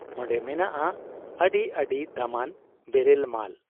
ᱚᱱᱰᱮ ᱢᱮᱱᱟᱜ ᱟ ᱟᱹᱰᱤ ᱟᱹᱰᱤ ᱫᱟᱢᱟᱱ ᱵᱮᱨᱮᱞ ᱢᱟᱞ ᱾